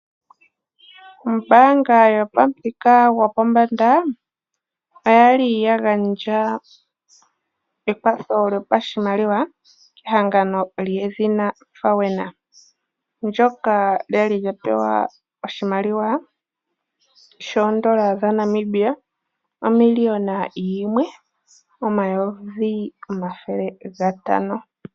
Ombaanga yopamuthika gopombanda oyali ya gandja ekwatho lyopashimaliwa kehangano lyedhina Fawena. Ndyoka lyali lya pewa oshimaliwa shoondola dha Namibia omiliona yimwe, omayovi omathele gatano.